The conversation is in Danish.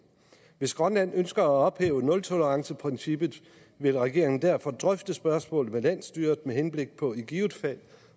hvis grønland ønsker at ophæve nultoleranceprincippet vil regeringen derfor drøfte spørgsmålet med landsstyret med henblik på i givet fald